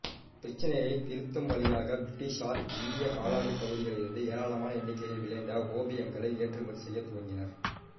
இப் பிரச்சினையை திருத்தும் வழியாக பிரிட்டிஷ்ஷார் இந்திய காலனிப் பகுதிகளிலிருந்து ஏராளமான எண்ணிக்கையில் விளைந்த ஓபியங்களை ஏற்றுமதி செய்யத் துவங்கினர்